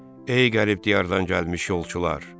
Ey qərib diyardan gəlmiş yolçular!